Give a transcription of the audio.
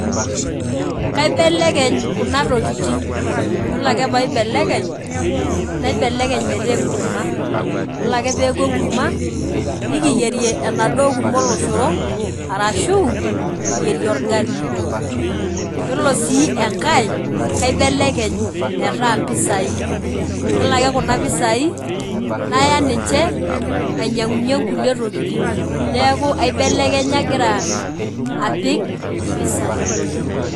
Kibelekeny kunatokitin ore ame paibeleknye naibeleny metas enkurma yiolo ake peaku enkurma nikiyierie enaduo kurma oloshoro arashu kiyieri olgali, yiolo si enkae kaibelekeny metas mpisai yiolo aje kuna pisai naya ninche ainyangunyie nkuli tokitin neaku aibelekenya aitaa mpisai.